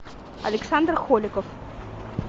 александр холиков